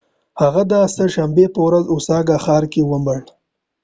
هغه د سه شنبې په ورځ په اوساکا ښار کې ومړ